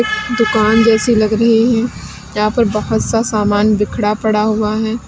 दुकान जैसी लग रही है यहां पर बहुत सा सामान बिखरा पड़ा हुआ है।